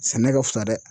Sɛnɛ ka fusa dɛ